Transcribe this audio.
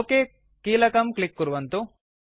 okay कीलकं click कुर्वन्तु